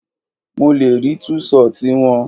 Mo le rí tú ṣọtì wọn.